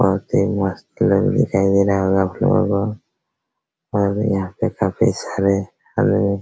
बहुत ही मस्त लोग दिखाई दे रहा होगा आपलोगो को और भी यहाँ पे काफी सारे |